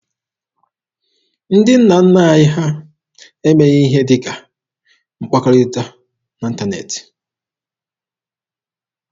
Ndị nna nna anyị ha emeghị ihe ndị dị ka mkpakọrịta n'ịntaneetị.